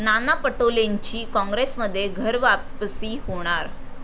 नाना पटोलेंची काँग्रेसमध्ये घरवापसी होणार